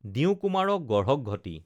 দিওঁ কুমাৰক গঢ়ক ঘটি